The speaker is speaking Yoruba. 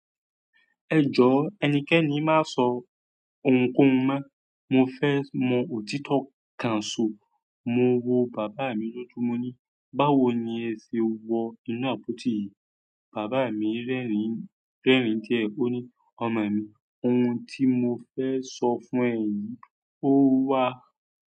Ẹ jọ ẹnikẹ́ni má sọ ohunkóhun mọ́. Mo fẹ mọ òtítọ́ kan sọ. Mo wo bàbá mi lójúmọ́ ní, "Báwo ni ẹ ṣe wọ inú àpótí yìí?" Bàbá mi rẹ́rìn-ín, rẹ́rìn-ín díẹ̀. Ó ní, "Ọmọ mi, ohun tí mo fẹ́ sọ fún ẹ yìí, ó wá."